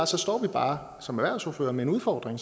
så står vi bare som erhvervsordførere med en udfordring